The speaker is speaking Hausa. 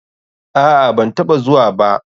Aa, banataɓa zuwa ba.